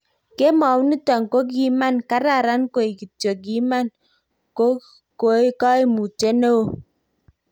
Kemou niton kokiman karan koik kityok kiman ko koimutyet neo."